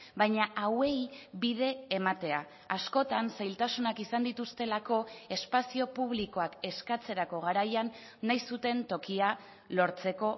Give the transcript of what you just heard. baina hauei bide ematea askotan zailtasunak izan dituztelako espazio publikoak eskatzerako garaian nahi zuten tokia lortzeko